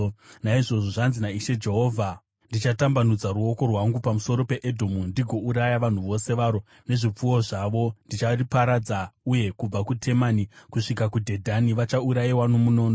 naizvozvo zvanzi naIshe Jehovha: Ndichatambanudza ruoko rwangu pamusoro peEdhomu ndigouraya vanhu vose varo nezvipfuwo zvavo. Ndichariparadza uye kubva kuTemani kusvika kuDhedhani vachaurayiwa nomunondo.